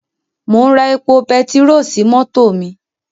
Mò ń ra epo pertiró sí mọ́tò mi.